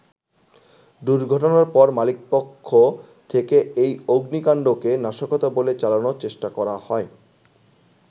দুর্ঘটনার পর মালিকপক্ষ থেকে এই অগ্নিকান্ডকে নাশকতা বলে চালানোর চেষ্টা করা হয়।